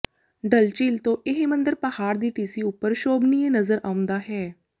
ਡਲ ਝੀਲ ਤੋਂ ਇਹ ਮੰਦਰ ਪਹਾੜ ਦੀ ਟੀਸੀ ਉੱਪਰ ਸ਼ੋਭਨੀਏ ਨਜ਼ਰ ਆਉਂਦਾ ਹੈ